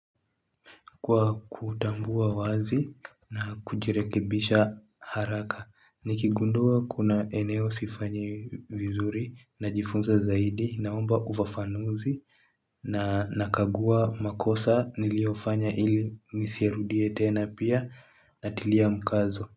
Kwa kutambua wazi na kujirekebisha haraka. Nikigundua kuna eneo sifanyi vizuri najifunza zaidi naomba ufafanuzi na nakagua makosa niliyofanya ili nisirudie tena pia natilia mkazo.